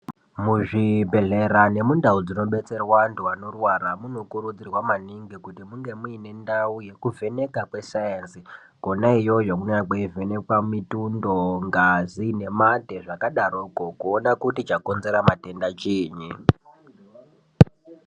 Muzvibhedhlera nemundau dzinodetserwa vantu vanorwara munokurudzirwa maningi kuti munge muine ndau yekuvheneka kwesainzi kona iyoyo kunenge kweivhemekwa mitundo ngazi nemate zvakadaroko kuona kuti chakonzera matenda chiini.